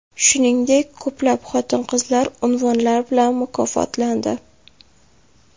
Shuningdek, ko‘plab xotin-qizlar unvonlar bilan mukofotlandi .